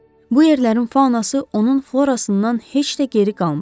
Bu yerlərin faunası onun florasından heç də geri qalmırdı.